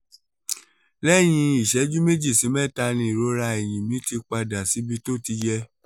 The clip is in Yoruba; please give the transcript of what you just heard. lẹ́yìn ìṣẹ́jú méjì sí mẹ́ta ni ìrora ẹ̀yìn mi ti padà síbi tó ti yẹ